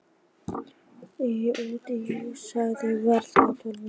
Í indversku útgáfunni hafði sagan verið töluvert öðruvísi.